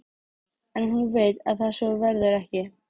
En hún veit að svo verður ekki.